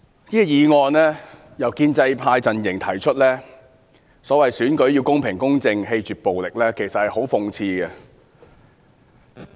主席，這項議案由建制派提出，說甚麼選舉要公平、公正、棄絕暴力，其實十分諷刺。